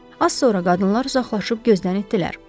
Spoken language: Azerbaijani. Az sonra qadınlar uzaqlaşıb gözdən itdirlər.